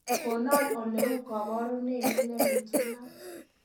konon oleu koborunenyun nepitunat